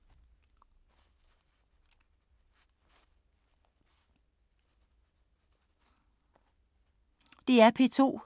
DR P2